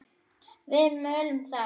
Við mölum þá!